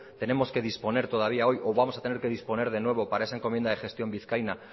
tenemos que disponer todavía hoy o vamos a tener que disponer de nuevo para esa encomienda de gestión vizcaína